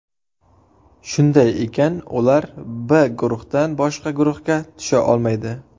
Shunday ekan, ular B guruhidan boshqa guruhga tusha olmaydi.